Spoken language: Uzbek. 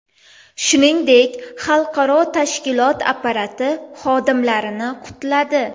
Shuningdek, xalqaro tashkilot apparati xodimlarini qutladi.